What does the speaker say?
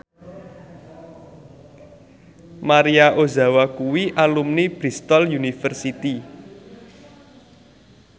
Maria Ozawa kuwi alumni Bristol university